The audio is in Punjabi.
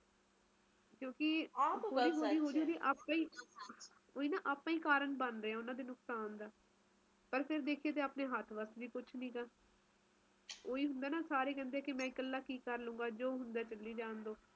ਹੁਣ ਉਹ ਗੱਲ ਰਹਿ ਨਹੀਂ ਗਈ ਸਰਦੀ ਤੇ ਗਰਮੀ ਚ ਗਰਮੀ ਤਾ ਮੈ ਕਹਿਣੀ ਆ ਵੱਧ ਗਯੀ ਬਹੁਤ ਵੱਧ ਗਈ ਕਰਕੇ ਸਰਦੀ ਐ ਨਾ ਉਸ ਚ ਫਰਕ ਪਿਆ ਪਹਿਲਾ ਨਾਲੋਂ ਹੁਣ ਉਹ ਵਾਲੀ ਸਰਦੀ ਨੀ ਰਹਿ ਗਈ ਦਿੱਲੀ ਦੀ ਸਿਰਫ ਇੱਕ ਨਾਮ ਰਹਿ ਗਿਆ